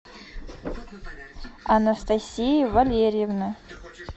анастасии валерьевны